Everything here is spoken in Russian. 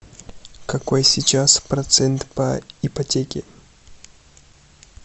какой сейчас процент по ипотеке